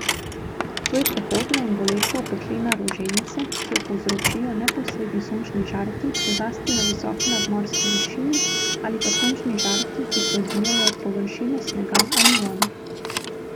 To je prehodna in boleča opeklina roženice, ki jo povzročijo neposredni sončni žarki, zlasti na visoki nadmorski višini, ali pa sončni žarki, ki se odbijajo od površine snega ali vode.